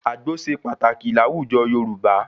Àgbó ṣe pàtàkì láwùjọ Yorùbá.